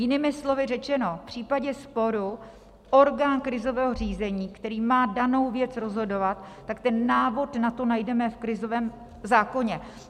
Jinými slovy řečeno, v případě sporu orgán krizového řízení, který má danou věc rozhodovat, tak ten návod na to najdeme v krizovém zákoně.